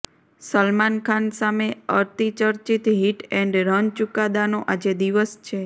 સલમાન ખાન સામે અતિચર્ચિત hit and run ચુકાદાનો આજે દિવસ છે